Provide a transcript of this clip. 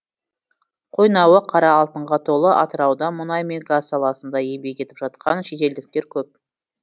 қойнауы қара алтынға толы атырауда мұнай мен газ саласында еңбек етіп жатқан шетелдіктер көп